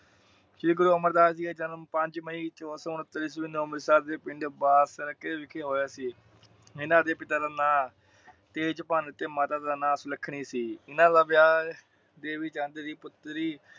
ਸ਼੍ਰੀ ਗੁਰੂ ਅਮਰਦਾਸ ਜੀ ਨੇ ਪੰਜ ਮਈ ਚੋਦਾ ਸੋ ਉੰਨ੍ਹਤਰ ਈਸਵੀ ਨੂੰ ਅੰਮ੍ਰਿਤਸਰ ਦੇ ਪਿੰਡ ਬਾਰ ਸਰਕੇ ਵਿਖੇ ਹੋਇਆ ਸੀ। ਓਹਨਾ ਦੇ ਪਿਤਾ ਦਾ ਨਾਂ ਤੇਜਭਾਨ ਤੇ ਮਾਤਾ ਦਾ ਨਾਂ ਸੁਲੱਖਣੀ ਸੀ। ਉਹਨਾਂ ਦਾ ਵਿਆਹ ਦੇਵੀਚੰਦ ਦੀ ਪੁਤਰੀ